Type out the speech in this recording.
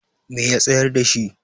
me ya tsayar da shi?